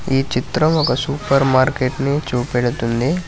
ఈ చిత్రం ఒక సూపర్ మార్కెట్ ని చూపెడుతుంది.